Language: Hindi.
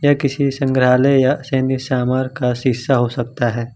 ये किसी संग्रहालय या सैनी समर का शीशा हो सकता है।